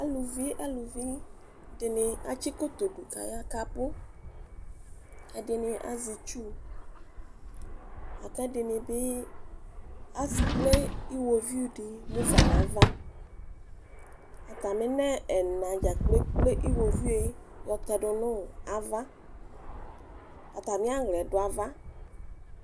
Alʋvi dini atsi koto dʋ kʋ aya kʋ abʋ ɛdini azɛ itsʋ lakʋ ɛdinibi ekple iwoviʋ di mufa nʋ ava atami nʋ ɛna dzajplo ekple iwoviu yɔtɛdʋ nʋ ava atami aɣlɛ dʋ ava